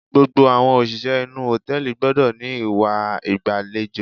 Gbogbo àwọn òṣìṣẹ́ inú hòtẹ́ẹ̀lì gbọ́dọ̀ ní ìwà ìgbàlejò.